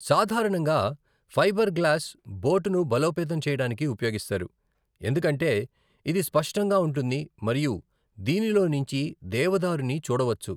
సాధారణంగా ఫైబర్‌గ్లాస్ బోటును బలోపేతం చేయడానికి ఉపయోగిస్తారు, ఎందుకంటే ఇది స్పష్టంగా ఉంటుంది మరియు దీనిలోంచి దేవదారుని చూడవచ్చు.